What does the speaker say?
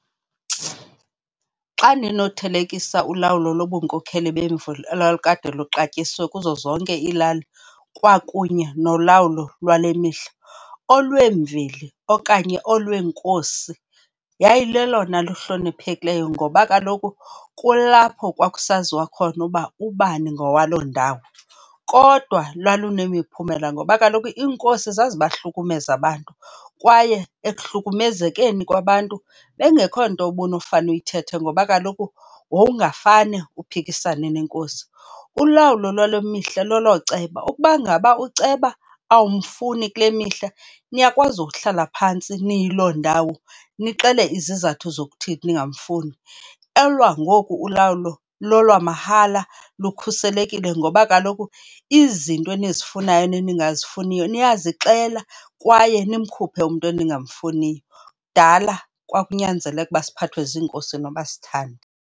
Xa ndinothelekisa ulawulo lobunkokheli bemveli elalikade luxatyisiwe kuzo zonke iilali kwakunye nolawulo lwale mihla, olwemveli okanye olweenkosi yayilelona luhloniphekileyo ngoba kaloku kulapho kwakusaziwa khona uba ubani ngowaloo ndawo. Kodwa lwalunemiphumela ngoba kaloku inkosi zazibahlukumeza abantu kwaye ekuhlukumezeni kwabantu, bekungekho nto ubunofane uyithethe ngoba kaloku wowungafane uphikisane neNkosi. Ulawulo lwale mihla lelooceba. Ukuba ngaba ukuceba awumfuni kule mihla, niyakwazi ukuhlala phantsi noyiloo ndawo nixele izizathu zokuthini ningamfundi. Elwangoku ulawulo lolwamahala, lukhuselekile ngoba kaloku izinto enizifunayo neningazifuniyo niyazixela kwaye nimkhuphe umntu eningamfuniyo. Kudala kwawunyanzeleka ukuba siphathwe ziinkosi noba asithandi.